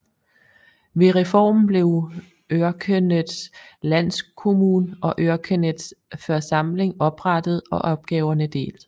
Ved reformen blev Örkeneds landskommun og Örkeneds församling oprettet og opgaverne delt